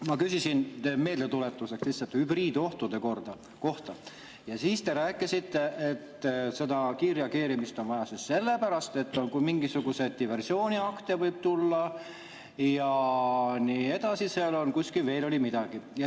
Ma küsisin – meeldetuletuseks lihtsalt – hübriidohtude kohta ja te rääkisite, et seda kiirreageerimist on vaja sellepärast, et mingisuguseid diversiooniakte võib tulla ja nii edasi, seal kuskil oli veel midagi.